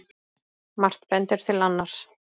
Margt bendir til annars.